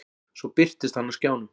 Svo birtist hann á skjánum.